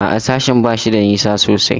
A'a, sashen ba shi da nisa sosai.